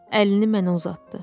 Əlini mənə uzatdı.